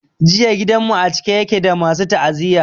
Jiya gidan mu a cike yake da masu ta'aziyya.